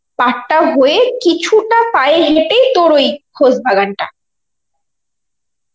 পারটা হয়ে কিছুটা পায়ে হেঁটেই তোর ওই খোশবাগানটা.